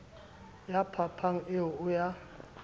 la phapang eo e a